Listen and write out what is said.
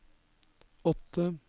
åtte